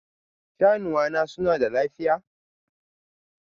Shanuwa na suna da lafiya?